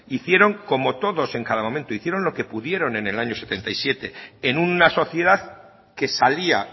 hicieron como todos en cada momento hicieron lo que pudieron en el año setenta y siete en una sociedad que salía